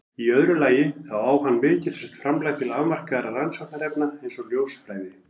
Í öðru lagi þá á hann mikilsvert framlag til afmarkaðra rannsóknarefna eins og ljósfræði.